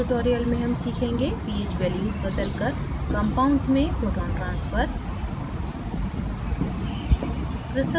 इस tutorial में हम सीखेंगे ph values बदलकर compounds यौगिकों में proton transfer